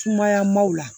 Sumaya maw la